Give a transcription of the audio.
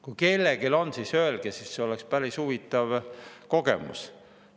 Kui keegi, siis öelge, see oleks päris huvitav kogemus.